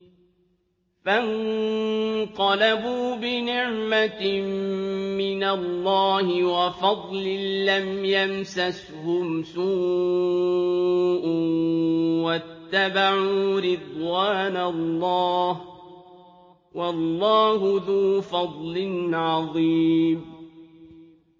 فَانقَلَبُوا بِنِعْمَةٍ مِّنَ اللَّهِ وَفَضْلٍ لَّمْ يَمْسَسْهُمْ سُوءٌ وَاتَّبَعُوا رِضْوَانَ اللَّهِ ۗ وَاللَّهُ ذُو فَضْلٍ عَظِيمٍ